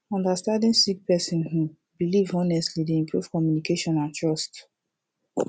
understanding sik person um bilif honestly dey improve communication and trust